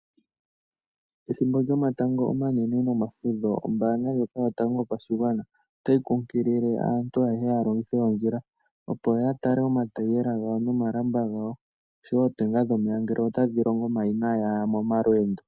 Ethimbo lyomatango omanene nomafudho ombanga ndjoka yotango yopashigwana otayi kunkilile aantu ayehe yalongithe ondjila, opo ya tale omataayiyela nomalamba gawo. Oshowo ootenga dhomeya ngele otadhi longo manga inaaya momalweendo.